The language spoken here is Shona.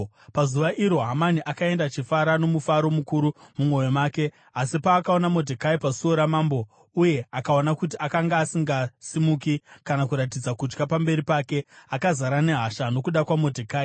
Pazuva iro, Hamani akaenda achifara nomufaro mukuru mumwoyo make. Asi paakaona Modhekai pasuo ramambo uye akaona kuti akanga asingasimuki kana kuratidza kutya pamberi pake, akazara nehasha nokuda kwaModhekai.